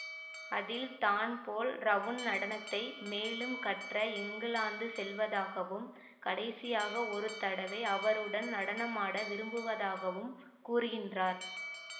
அதில் தான் போல் ரவுண் நடனத்தை மேலும் கற்ற இங்கிலாந்து செல்வதாகவும் கடைசியாக ஒரு தடவை அவருடன் நடனமாட விரும்புவதாகவும் கூறுகின்றார்